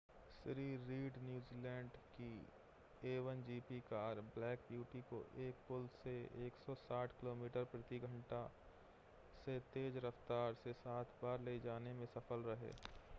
Shri Reid New Zealand की a1gp car Black Beauty को एक पुल से 160 किलोमीटर/घंटा से तेज़ रफ़्तार से सात बार ले जाने में सफल रहे